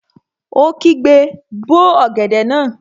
Ó kígbe, 'bó ọ̀gẹ̀dẹ̀ náà!